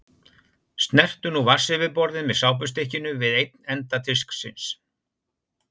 Snertu nú vatnsyfirborðið með sápustykkinu við einn enda disksins.